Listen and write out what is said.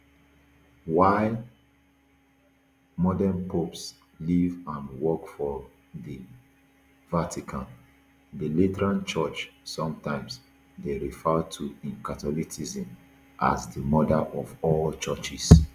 while modern popes live and work for di vatican di lateran church sometimes dey referred to in catholicism as di mother of all churches